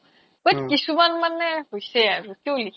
but কিছুমান মানে হৈছে আৰু কিও লিখে